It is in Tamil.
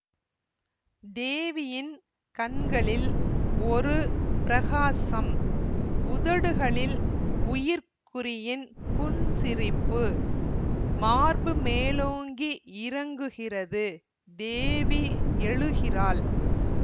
தேவியின் கண்களில் ஒரு பிரகாசம் உதடுகளில் உயிர்க் குறியின் புன்சிரிப்பு மார்பு மேலோங்கி இறங்குகிறது தேவி எழுகிறாள்